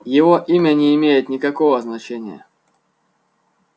его имя не имеет никакого значения